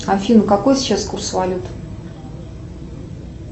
афина какой сейчас курс валюты